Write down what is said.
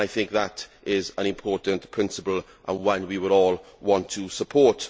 I think that is an important principle and one we would all want to support.